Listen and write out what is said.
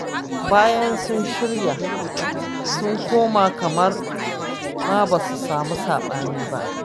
Bayan sun shirya, sun koma kamar ma ba su samu saɓani ba